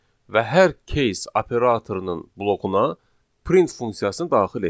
Və hər case operatorunun blokuna print funksiyasını daxil etdik.